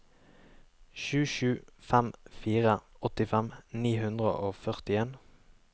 sju sju fem fire åttifem ni hundre og førtien